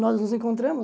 Nós nos encontramos